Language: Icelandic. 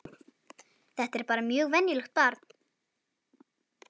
Þetta er bara mjög venjulegt barn.